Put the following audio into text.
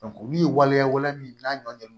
min ye waleyaw min n'a nɔ